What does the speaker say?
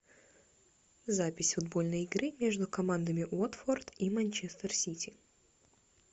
запись футбольной игры между командами уотфорд и манчестер сити